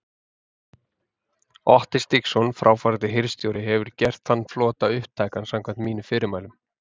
Otti Stígsson, fráfarandi hirðstjóri hefur gert þann flota upptækan samkvæmt mínum fyrirmælum.